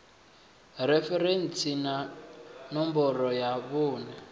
referentsi na ṋomboro ya vhuṋe